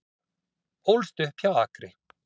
Ólst upp hjá Akri